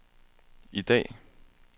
i dag